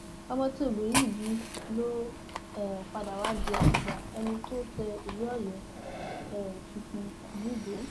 ọmọ tí obìnrin yìí bí ló um padà wàá di àtibá ẹni tó tẹ ìlú ọyọ um tuntun yìí dó